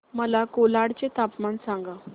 मला कोलाड चे तापमान सांगा